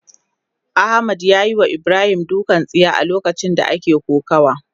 Ahmad yayiwa Ibrahim dukan tsiya a lokacin da ake kokawa.